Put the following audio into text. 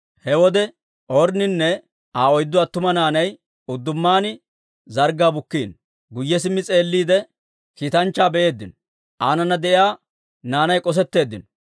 He wode Ornninne Aa oyddu attuma naanay uddumaan zarggaa bukkiino. Guyye simmi s'eelliide, kiitanchchaa be'eeddino; aanana de'iyaa naanay k'osetteeddinno.